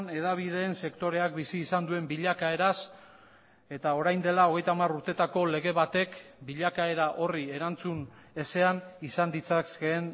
hedabideen sektoreak bizi izan duen bilakaeraz eta orain dela hogeita hamar urtetako lege batek bilakaera horri erantzun ezean izan ditzakeen